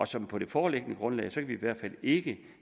så på det foreløbige grundlag kan vi i hvert fald ikke